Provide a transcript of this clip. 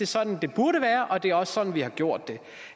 sådan det burde være og det er også sådan vi har gjort det